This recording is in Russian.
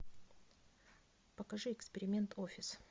покажи эксперимент офис